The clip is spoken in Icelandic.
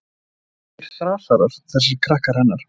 Fæddir þrasarar, þessir krakkar hennar.